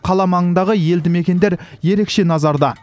қала маңындағы елді мекендер ерекше назарда